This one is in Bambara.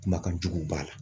Kumakan jugu b'a la.